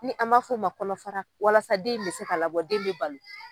Ni an m'a fɔ o ma kɔnɔfara walasa den in bɛ se ka labɔ den in bɛ balo.